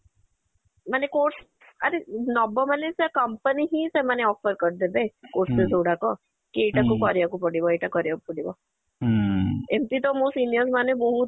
ମାନେ course ଆରେ ନବ ମାନେ ସେ company ହିଁ ସେମାନେ offer କରିଦେବେ courses ଗୁଡାକ କି କରିବାକୁ ପଡିବ ଏଇଟା କରିବାକୁ ପଡିବ ଏମିତି ତ ମୋ seniors ମାନେ ବହୁତ